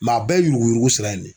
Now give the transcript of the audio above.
a bɛɛ ye yuruku yuruku sira in ne ye.